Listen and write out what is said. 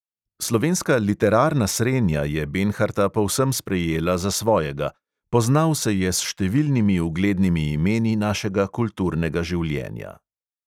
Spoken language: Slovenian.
Slovenska literarna srenja je benharta povsem sprejela za svojega, poznal se je s številnimi uglednimi imeni našega kulturnega življenja.